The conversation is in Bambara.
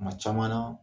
Kuma caman na